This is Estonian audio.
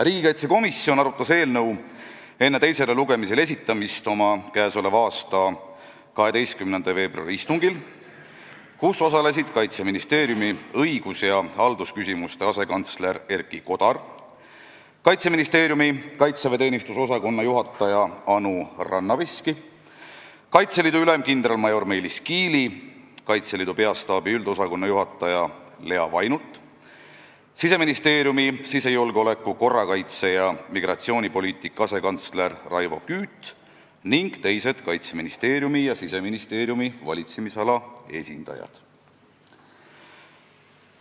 Riigikaitsekomisjon arutas eelnõu enne teisele lugemisele esitamist oma k.a 12. veebruari istungil, kus osalesid Kaitseministeeriumi õigus- ja haldusküsimuste asekantsler Erki Kodar, Kaitseministeeriumi kaitseväeteenistuse osakonna juhataja Anu Rannaveski, Kaitseliidu ülem kindralmajor Meelis Kiili, Kaitseliidu Peastaabi üldosakonna juhataja Lea Vainult, Siseministeeriumi sisejulgeoleku-, korrakaitse- ja migratsioonipoliitika asekantsler Raivo Küüt ning teised Kaitseministeeriumi ja Siseministeeriumi valitsemisala esindajad.